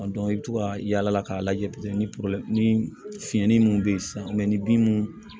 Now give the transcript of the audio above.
i bɛ to ka yaala k'a lajɛ ni ni fiɲɛ ni mun bɛ ye sisan ni bin mun